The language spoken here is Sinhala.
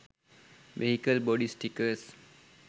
vehicle bodi stickers